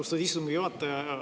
Austatud istungi juhataja!